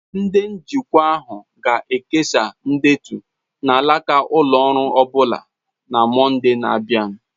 Ndị njikwa ahụ ga-ekesa ndetu na alaka ụlọ ọrụ ọbụna na Mọnde na-abịa.